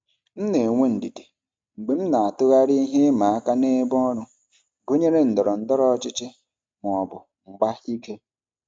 M na-enwe ndidi mgbe m na-atụgharị ihe ịma aka n'ebe ọrụ gụnyere ndọrọ ndọrọ ọchịchị ma ọ bụ mgba ike.